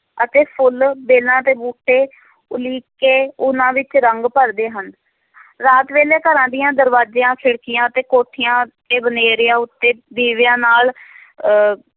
ਅਤੇ ਫੁੱਲ, ਵੇਲਾਂ ਤੇ ਬੂਟੇ ਉਲੀਕ ਕੇ, ਉਹਨਾਂ ਵਿੱਚ ਰੰਗ ਭਰਦੇ ਹਨ ਰਾਤ ਵੇਲੇ, ਘਰਾਂ ਦੀਆਂ ਦਰਵਾਜ਼ਿਆਂ, ਖਿੜਕੀਆਂ ਅਤੇ ਕੋਠਿਆਂ ਤੇ ਬਨੇਰਿਆਂ ਉੱਤੇ, ਦੀਵਿਆਂ ਨਾਲ ਅਹ